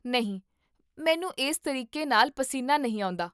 ਨਹੀਂ, ਮੈਨੂੰ ਇਸ ਤਰੀਕੇ ਨਾਲ ਪਸੀਨਾ ਨਹੀਂ ਆਉਂਦਾ